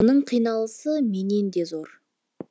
оның қиналысы менен де зор